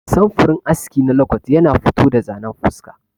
Samfurin aski na lokot yana fito da zanen fuska.